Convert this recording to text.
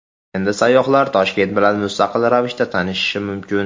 Endi sayyohlar Toshkent bilan mustaqil ravishda tanishishi mumkin.